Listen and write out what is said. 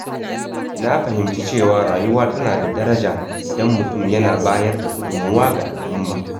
Na fahimci cewa rayuwa tana da daraja idan mutum yana bayar da gudunmawa ga al’umma.